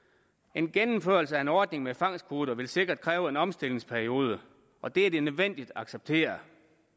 en gennemførelse af en ordning med fangstkvoter vil sikkert kræve en omstillingsperiode og det er nødvendigt at acceptere